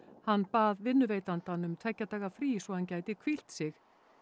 hann bað vinnuveitandann um tveggja daga frí svo hann gæti hvílt sig